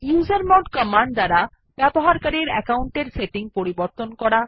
usermod command দ্বারা user account settings পরিবর্তন করা